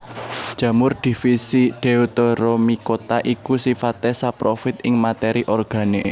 Jamur divisi Deuteromycota iku sifaté saprofit ing matéri organik